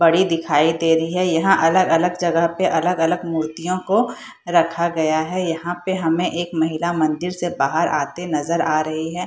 बड़ी दिखाई दे रही हैं। यहाँ अलग-अलग जगह पे अलग-अलग मूर्तियों को रखा गया हैं। यहाँ पे हमें एक महिला मंदिर से बाहर आते नजर आ रही हैं।